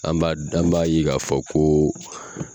An b'a , an b'a ye ka fɔ ko